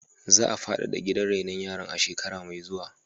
Za a faɗaɗa gidan rainon yaran a shekara mai zuwa.